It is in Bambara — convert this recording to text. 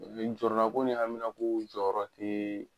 Jɔrɔnako ni haminanko jɔyɔrɔ tɛ